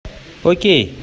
окей